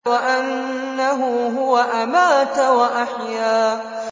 وَأَنَّهُ هُوَ أَمَاتَ وَأَحْيَا